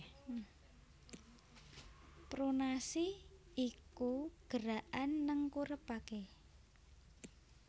Pronasi iku gerakan nengkurepaké